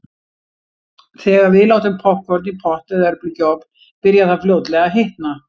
Þegar við látum poppkorn í pott eða örbylgjuofn byrjar það fljótlega að hitna.